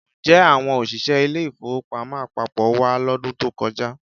Ǹjẹ́ àwọn òṣìṣẹ́ ilé-ìfowópamọ́ àpapọ̀ wá lọ́dún tó kọjá?